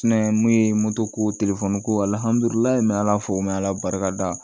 mun ye ko ko barika da